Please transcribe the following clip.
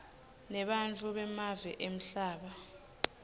nebantfu bemave emhlaba